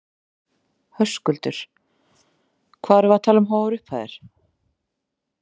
Höskuldur: Hvað erum við að tala um háar upphæðir?